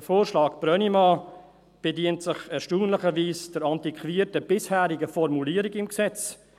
Der Vorschlag Brönnimann bedient sich erstaunlicherweise der antiquierten, bisherigen Formulierung im Gesetz.